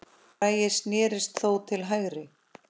Bragi snérist þó til hægri.